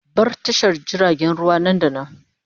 Bar tashar jiragen ruwa nan da nan!